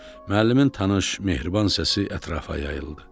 Müəllimin tanış, mehriban səsi ətrafa yayıldı.